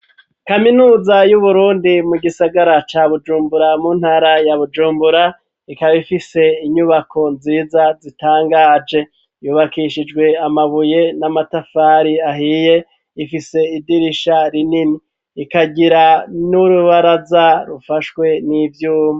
Kaminuza y'uburundi mu gisagara ca bujumbura mu ntara ya bujumbura ikabifise inyubako nziza zitangaje yubakishijwe amabuye n'amatafari ahiye ifise idirisha rinini ikagira n'urubaraza rufashwe n'ivyuma.